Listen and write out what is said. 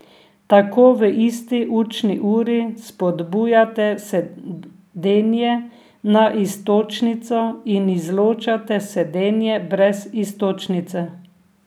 Tako v isti učni uri spodbujate sedenje na iztočnico in izločate sedenje brez iztočnice.